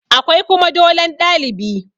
Akwai kuma dolon ɗalibi